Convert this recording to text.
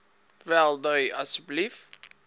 wel dui asseblief